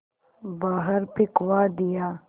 बाहर फिंकवा दिया